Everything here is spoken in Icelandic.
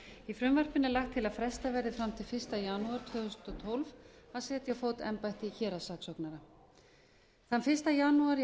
í frumvarpinu er lagt til að frestað verði fram til fyrsta janúar tvö þúsund og tólf að setja á fót embætti héraðssaksóknara þann fyrsta janúar í